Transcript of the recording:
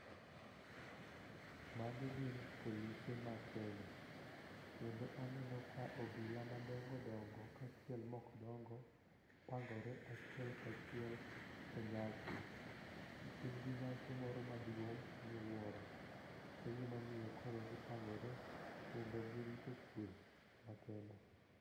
Magi gin polise ma Kenya kendo aneno ka obila madongodongo kaachiel mok dongo pangore achiel kachiel e nyasi. Gin gi nyasi moro maduong' miwuoro e gimomiyo koro gipangore kendo girito kwe makende.